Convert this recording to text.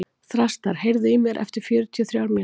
Þrastar, heyrðu í mér eftir fjörutíu og þrjár mínútur.